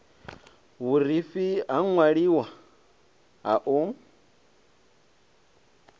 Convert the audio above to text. vhurifhi ha ṅwaliwa ha u